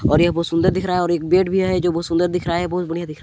और ये बहुत सुंदर दिख रहा है और एक बेड भी है जो बहुत सुंदर दिख रहा है बहुत बढ़िया दिख रहा--